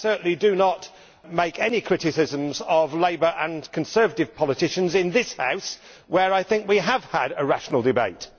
I certainly do not make any criticisms of Labour and Conservative politicians in this House, where I think we have had a rational debate.